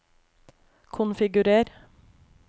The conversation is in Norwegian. konfigurer